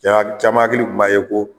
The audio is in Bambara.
Ja caman hakili kun b'a ye ko